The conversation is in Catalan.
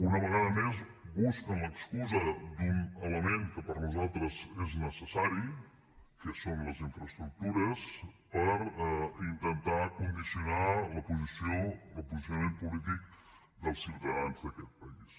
una vegada més busquen l’excusa d’un element que per nosaltres és necessari que són les infraestructures per intentar condicionar el posicionament polític dels ciutadans d’aquest país